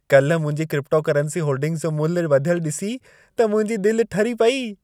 काल्हि मुंहिंजी cryptocurrency holdings जो मुल्ह वधियल ॾिसी त मुंहिंजी दिलि ठरी पेई।